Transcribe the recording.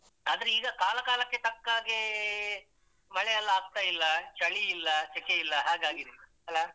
ಆದ್ರೆ ಈಗ ಕಾಲ ಕಾಲಕ್ಕೆ ತಕ್ಕಹಾಗೆ ಮಳೆಯಲ್ಲ ಆಗ್ತಾ ಇಲ್ಲ ಚಳಿ ಇಲ್ಲ ಸೆಕೆ ಇಲ್ಲ ಹಾಗಾಗಿದೆ ಅಲ್ಲ?